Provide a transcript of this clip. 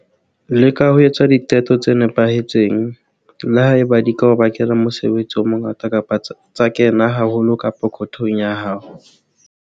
Leka ho etsa diqeto tse nepahetseng, le ha eba di ka o bakela mosebetsi o mongata kapa tsa kena haholo ka pokothong ya hao.